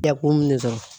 Dakun minnu sɔrɔ